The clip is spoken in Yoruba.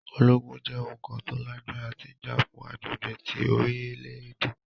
Ologun jẹ oun kan to lagbara ti ja fun agbegbe ti orilẹ-ede.